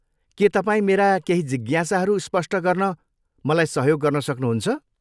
के तपाईँ मेरा केही जिज्ञासाहरू स्पष्ट गर्न मलाई सहयोग गर्न सक्नुहुन्छ?